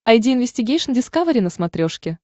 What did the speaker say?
айди инвестигейшн дискавери на смотрешке